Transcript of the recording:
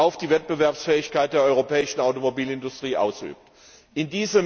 auf die Wettbewerbsfähigkeit der europäischen Automobilindustrie ausüben würde.